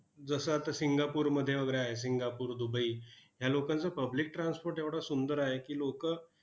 जसं आता सिंगापूरमध्ये वगैरे आहे, सिंगापूर, दुबई. या लोकांचं public transport एवढं सुंदर आहे की, लोकं